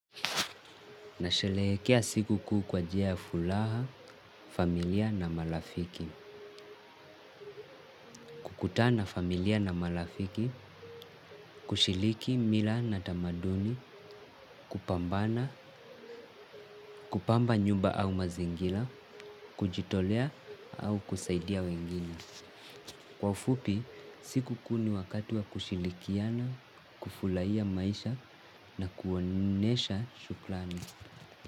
Nasherehekea siku kuu kwa njia ya furaha, familia na marafiki. Kukutana familia na marafiki, kushiriki mila na tamaduni, kupambana, kupamba nyumba au mazingira, kujitolea au kusaidia wengine. Kwa ufupi sikukuu ni wakati wa kushirikiana kufurahia maisha na kuonyesha shukurani.